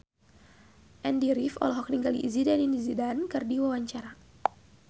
Andy rif olohok ningali Zidane Zidane keur diwawancara